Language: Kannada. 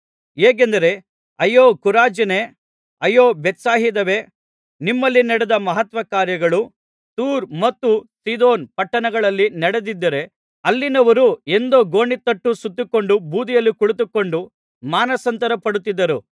ಹೇಗೆಂದರೆ ಅಯ್ಯೋ ಖೊರಾಜಿನೇ ಅಯ್ಯೋ ಬೇತ್ಸಾಯಿದವೇ ನಿಮ್ಮಲ್ಲಿ ನಡೆದ ಮಹತ್ಕಾರ್ಯಗಳು ತೂರ್ ಮತ್ತು ಸೀದೋನ್ ಪಟ್ಟಣಗಳಲ್ಲಿ ನಡೆದಿದ್ದರೆ ಅಲ್ಲಿನವರು ಎಂದೋ ಗೋಣಿತಟ್ಟು ಸುತ್ತಿಕೊಂಡು ಬೂದಿಯಲ್ಲಿ ಕುಳಿತುಕೊಂಡು ಮಾನಸಾಂತರಪಡುತ್ತಿದ್ದರು